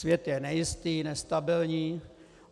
Svět je nejistý, nestabilní.